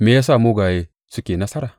Me ya sa mugaye suke nasara?